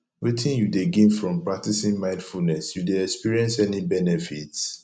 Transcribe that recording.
wetin you dey gain from practicing mindfulness you dey experience any benefits